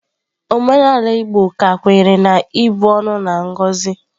Omenala Igbo ka kwenyere na ịbu ọnụ na ngozi.